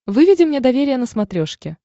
выведи мне доверие на смотрешке